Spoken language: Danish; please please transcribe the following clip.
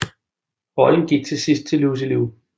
Rollen gik til sidst til Lucy Liu